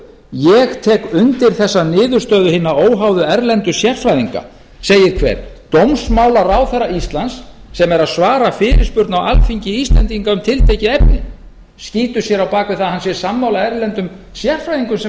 ég tek undir þessa niðurstöðu hinna óháðu erlendu sérfræðinga segir hver dómsmálaráðherra íslands sem er að svara fyrirspurn á alþingi íslendinga um tiltekið efni hann skýtur sér á bak við það að hann sé sammála erlendum sérfræðingum sem